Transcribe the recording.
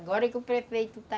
Agora que o prefeito está...